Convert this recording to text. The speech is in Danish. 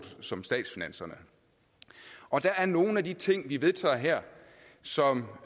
som statsfinanserne og der er nogle af de ting vi vedtager her som